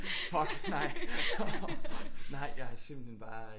Fuck nej nej jeg har simpelthen bare